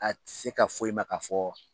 A ti se ka fo i ma ka fɔ